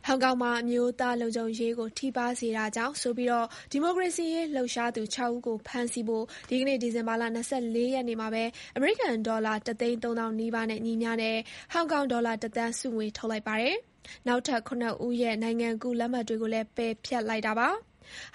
ောင်ကောင်မှာ အမျိုးသားလုံခြုံရေးကို ထိပါးစေတာကြောင့်ဆိုပြီး ဒီမိုကရေစီရေးလှုပ်ရှားသူ ၆ ဦးကို ဖမ်းဆီးဖို့ ဒီကနေ့ ဒီဇင်ဘာ ၂၄ ရက်နေ့မှာပဲ အမေရိကန်ဒေါ်လာ ၁၃၀,၀၀၀ နီးပါးနဲ့ ညီမျှတဲ့ ဟောင်ကောင်ဒေါ်လာ ၁ သန်း ဆုငွေ ထုတ်လိုက်ပါတယ်။ နောက်ထပ် ၇ ဦးရဲ့ နိုင်ငံကူးလက်မှတ်တွေ ကိုလည်း ပယ်ဖျက်လိုက်တာပါ။